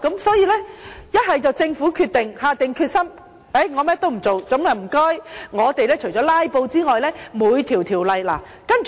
所以，要麼政府下定決心，決定甚麼也不做，那我們除了"拉布"外，每一條例也......